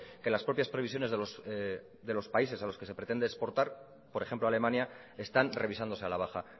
que las propias previsiones de los países a los que se pretende exportar por ejemplo alemania están revisándose a la baja